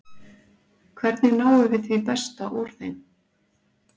Hvernig náum við því besta úr þeim?